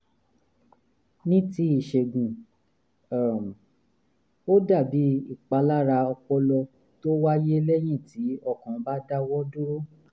ní ti ìṣègùn um ó dàbí ìpalára ọpọlọ tó wáyé lẹ́yìn tí ọkàn bá dáwọ́ dúró